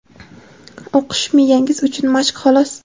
O‘qish miyangiz uchun mashq xolos.